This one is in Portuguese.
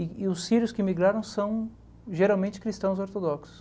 E e os sírios que emigraram são geralmente cristãos ortodoxos.